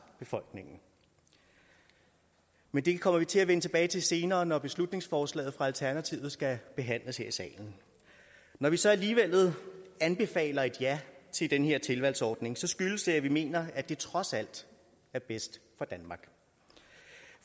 befolkningen men det kommer vi til at vende tilbage til senere når beslutningsforslaget fra alternativet skal behandles her i salen når vi så alligevel anbefaler et ja til den her tilvalgsordning skyldes det at vi mener at det trods alt er bedst